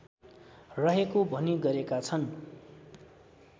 रहेको भनी गरेका छन्